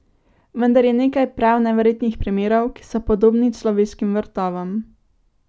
Vendar je nekaj prav neverjetnih primerov, ki so podobni človeškim vrtovom.